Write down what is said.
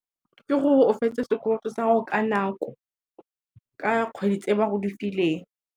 Ke gore o fetse sekoloto sa gago ka nako, ka kgwedi tse ba go difileng.